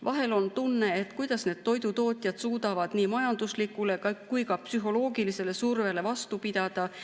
Vahel on tunne, et kuidas need toidutootjad suudavad nii majanduslikule kui ka psühholoogilisele survele vastu pidada.